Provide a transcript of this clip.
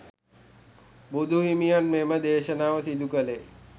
බුදුහිමියන් මෙම දේශනාව සිදු කළේ.